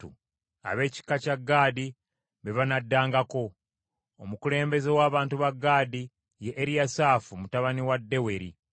Ab’ekika kya Gaadi be banaddangako. Omukulembeze w’abantu ba Gaadi ye Eriyasaafu mutabani wa Deweri.